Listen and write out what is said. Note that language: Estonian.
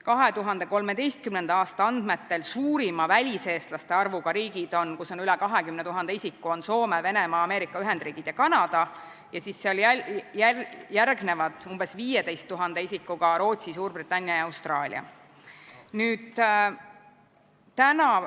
2013. aasta andmetel on suurima väliseestlaste arvuga riigid, kus on üle 20 000 isiku, Soome, Venemaa, Ameerika Ühendriigid ja Kanada, ja siis järgnevad umbes 15 000 isikuga Rootsi, Suurbritannia ja Austraalia.